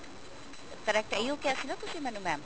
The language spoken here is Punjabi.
correct ਇਹੀ ਓ ਕਿਹਾ ਸੀ ਨਾ ਤੁਸੀਂ ਮੈਨੂੰ mam